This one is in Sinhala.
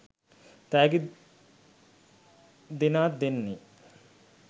තෑගි දෙනාත් දෙන්නේ.